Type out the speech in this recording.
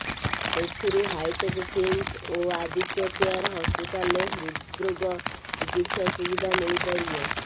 ଏଥିରୁ ହାଇଟେକ୍ କିମ୍ସ ଓ ଆଦିତ୍ୟ କେୟାର ହସ୍ପିଟାଲରେ ହୃଦ୍ରୋଗ ଚିକିତ୍ସା ସୁବିଧା ମିଳିପାରିବ